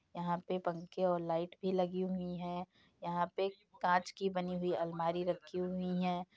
यहां पे पंखे और लाइट भी लगी हुई हैं। यहाँ पे कांच की बनी हुई अलमारी रखी हुई हैं।